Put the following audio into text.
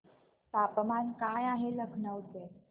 तापमान काय आहे लखनौ चे